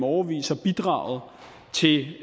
årevis har bidraget til